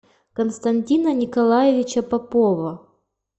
константина николаевича попова